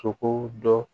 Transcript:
Sogo dɔ